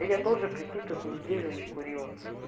я тоже прикинь тут неделю не курила